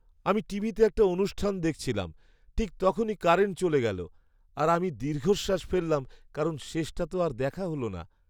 আমি টিভিতে একটা অনুষ্ঠান দেখছিলাম, ঠিক তখনই কারেন্ট চলে গেল, আর আমি দীর্ঘশ্বাস ফেললাম, কারণ শেষটা তো আর দেখা হল না।